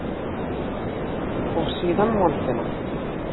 Og síðan moldina.